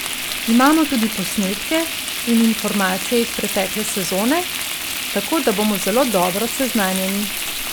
Imamo tudi posnetke in informacije iz pretekle sezone, tako da bomo zelo dobro seznanjeni.